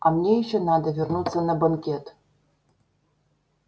а мне ещё надо вернуться на банкет